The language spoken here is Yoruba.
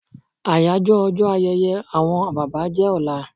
Àyájọ́ ọjọ́ ayẹyẹ àwọn bàbá jẹ́ ọlá